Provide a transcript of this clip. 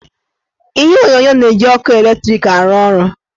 Ihe onyonyo na-eji ọkụ latrik arụ ọrụ.